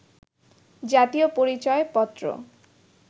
জাতীয় পরিচয় পত্র